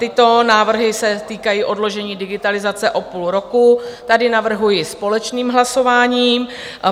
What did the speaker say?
Tyto návrhy se týkají odložení digitalizace o půl roku, tady navrhuji společným hlasováním.